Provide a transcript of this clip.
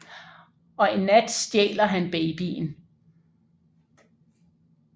Og en nat stjæler han babyen